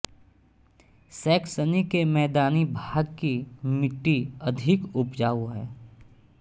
Saxony के मैदानी भाग की मिट्टी अधिक उपजाऊ है